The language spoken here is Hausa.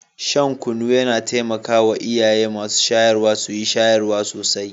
Shan kunu yana taimaka wa iyaye mata masu shayarwa su yi shayarwa sosai.